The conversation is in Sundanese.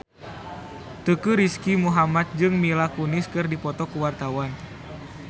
Teuku Rizky Muhammad jeung Mila Kunis keur dipoto ku wartawan